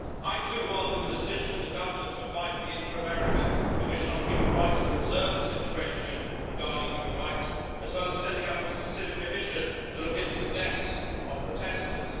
I too welcome the decision of the Government to invite the Inter American Commission on Human Rights to observe the situation regarding human rights, as well as the setting up of a specific commission to look into the deaths of protesters.